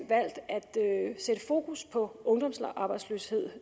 valgt at sætte fokus på ungdomsarbejdsløsheden